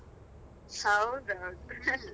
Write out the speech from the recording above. ಹೌದೌದು.